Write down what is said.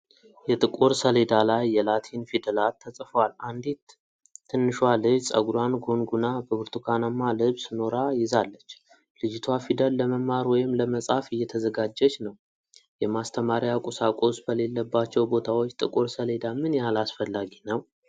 የጥቁር ሰሌዳ ላይ የላቲን ፊደላት ተጽፈዋል። አንዲት ትንሿ ልጅ ፀጉሯን ጎንጉና በብርቱካናማ ልብስ ኖራ ይዛለች። ልጅቷ ፊደል ለመማር ወይም ለመጻፍ እየተዘጋጀች ነው። የማስተማሪያ ቁሳቁስ በሌለባቸው ቦታዎች ጥቁር ሰሌዳ ምን ያህል አስፈላጊ ነው?